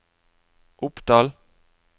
Oppdal